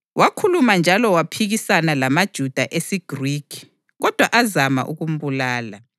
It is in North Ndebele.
Wakhuluma njalo waphikisana lamaJuda esiGrikhi, kodwa azama ukumbulala.